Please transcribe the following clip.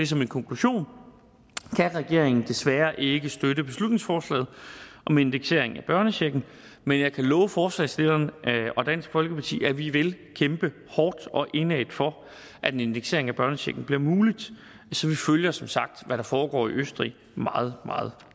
så min konklusion kan regeringen desværre ikke støtte beslutningsforslaget om indeksering af børnechecken men jeg kan love forslagsstillerne og dansk folkeparti at vi vil kæmpe hårdt og indædt for at indeksering af børnechecken bliver muligt så vi følger som sagt hvad der foregår i østrig meget meget